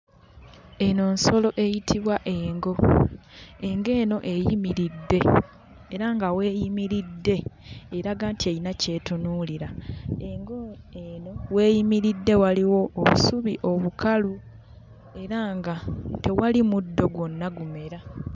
Eno nsolo eyitibwa engo. Engo eno eyimiridde era nga w'eyimiridde eraga nti eyina ky'etunuulira. Engo eno w'eyimiridde waliwo obusubi obukalu era nga tewali muddo gwonna gumera..